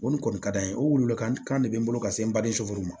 O nin kɔni ka d'an ye o weleli kan de bɛ n bolo ka se n baden sofuru ma